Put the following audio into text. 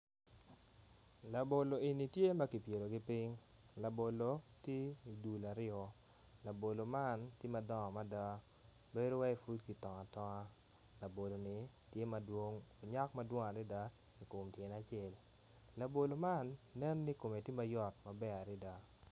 Labolo eni tye ma kipyelogi piny labolo tye idul aryo labolo man tye madongo mada bedo waci pud kitongo atonga laboloni tye madwong onyak madwong adada ikom tyene acel labolo man neni kome tye mayot maber adada.